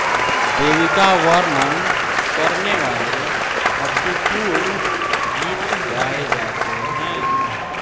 देवीका वर्णन करनेवाले भक्तिपूर्ण गीत गाएँ जाते है